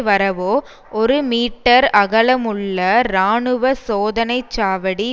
வரவோ ஒரு மீட்டர் அகலமுள்ள இராணுவ சோதனைச்சாவடி